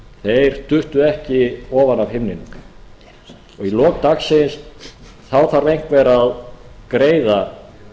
þeir duttu ekki ofan af himninum og í lok dagsins þá þarf einhver að greiða